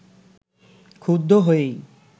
ক্ষুব্ধ হয়েই